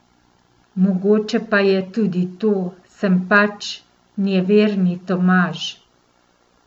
Mogoče pa je tudi to, sem pač nejeverni Tomaž.